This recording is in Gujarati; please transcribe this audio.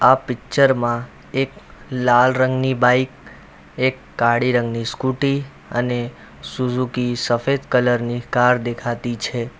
આ પિક્ચર માં એક લાલ રંગની બાઇક એક કાળી રંગની સ્કૂટી અને સુઝુકી સફેદ કલર ની કાર દેખાતી છે.